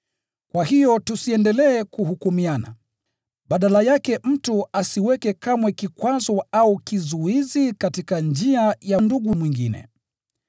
Kwa hiyo tusiendelee kuhukumiana: Badala yake mtu asiweke kamwe kikwazo au kizuizi katika njia ya ndugu mwingine.